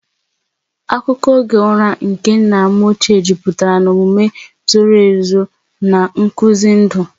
Akụkọ oge ụra nke nna m ochie jupụtara na omume zoro ezo na nkuzi ndụ.